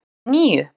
En níu?